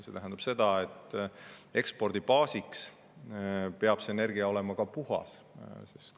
See tähendab seda, et ekspordibaasi seisukohalt peab kasutatav energia olema puhas.